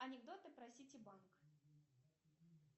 анекдоты про сити банк